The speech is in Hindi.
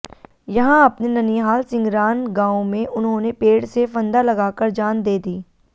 यहां अपने ननिहाल सिंघरान गांव में उन्होंने पेड़ से फंदा लगाकर जान दे दी